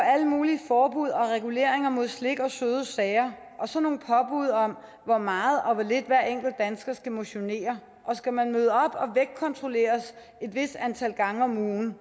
alle mulige forbud og reguleringer mod slik og søde sager og så nogle påbud om hvor meget og hvor lidt hver enkelt dansker skal motionere og skal man møde op og vægtkontrolleres et vist antal gange om ugen